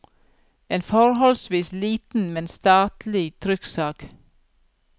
En forholdsvis liten, men statelig trykksak.